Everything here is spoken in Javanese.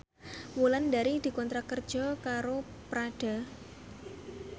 Wulandari dikontrak kerja karo Prada